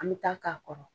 An bɛ taa k'a kɔrɔ